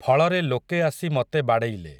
ଫଳରେ ଲୋକେ ଆସି ମତେ ବାଡ଼େଇଲେ ।